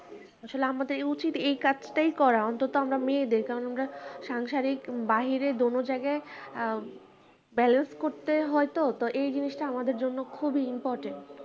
আসলে আমাদের উচিত এই কাজটাই করা অন্তত আমরা মেয়েদের কারণ আমরা সাংসারিক বাহিরে দোনো জায়গায় আ balance করতে হয় তো এই জিনিসটা আমাদের জন্য খুবই important